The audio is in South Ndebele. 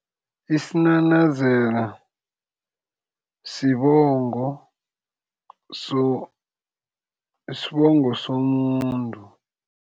Isinanazelo sibongo, sibongo somuntu.